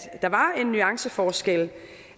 der var en nuanceforskel